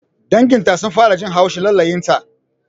Dangin ta sun fara jin haushin halayenta